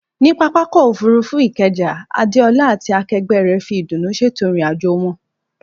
Ní pápákọ̀ òfurufú Ikeja, Adeola àti akẹgbẹ́ rẹ̀ fi ìdùnnú ṣètò ìrìn-àjò wọn.